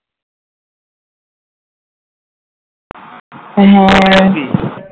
হ্যাঁ